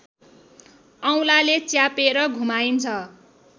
औँलाले च्यापेर घुमाइन्छ